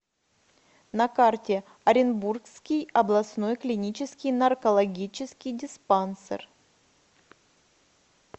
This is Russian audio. на карте оренбургский областной клинический наркологический диспансер